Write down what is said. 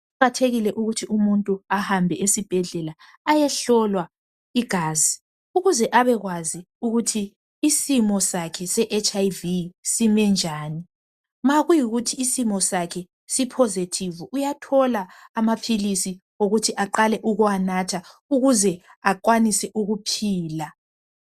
Kuqakathekile ukuthi umuntu ahambe esibhedlela ayohlolwa igazi. Ukuze abekwazi ukuthi isimo sakhe se HIV sime njani. Ma kuyikuthi isimo sakhe siphozethivu, uyathola amaphilisi okuthi aqale ukuwanatha ukuze enelise ukuphila.